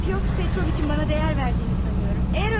Pyotr Petroviçin mənə dəyər verdiyini sanıram.